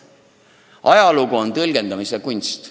Samas, ajalugu on tõlgendamise kunst.